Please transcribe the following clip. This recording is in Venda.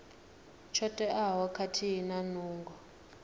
tsho teaho khathihi na nungo